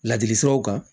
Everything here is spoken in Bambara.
Ladili siraw kan